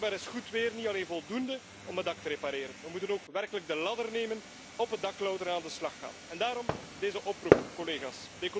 Maar blijkbaar is goed weer niet alleen voldoende om het dak te repareren. We moeten ook werkelijk de ladder nemen, op het dak klauteren en aan de slag gaan. Daarom deze oproep, collega's.